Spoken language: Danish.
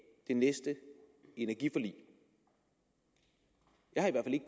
det næste energiforlig jeg har i